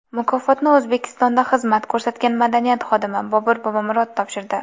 Mukofotni O‘zbekistonda xizmat ko‘rsatgan madaniyat xodimi Bobur Bobomurod topshirdi.